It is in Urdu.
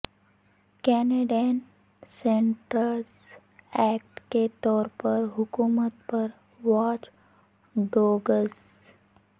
کینیڈین سینٹرز ایکٹ کے طور پر حکومت پر واچ ڈوگس